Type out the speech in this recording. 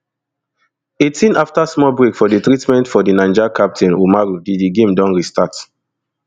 eighteen afta small break for treatment for di niger captain oumarou di di game don restart